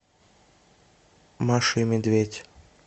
маша и медведь